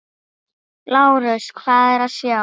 LÁRUS: Hvað er að sjá?